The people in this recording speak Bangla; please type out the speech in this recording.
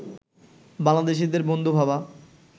বাংলাদেশিদের বন্ধু ভাবা